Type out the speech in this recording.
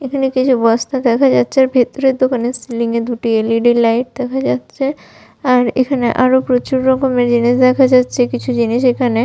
এখানে কিছু বস্তা দেখা যাচ্ছে আর ভেতরে দোকানে সিলিং এ দুটি এল.ই.ডি. লাইট দেখা যাচ্ছে আর এখানে আরো প্রচুর রকমের জিনিস দেখা যাচ্ছে কিছু জিনিস এখানে--